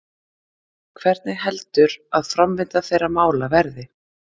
Hvernig heldur að framvinda þeirra mála verði?